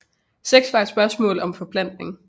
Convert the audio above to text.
Sex var et spørgsmål om forplantning